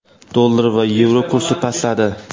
Dollar va yevro kursi pastladi.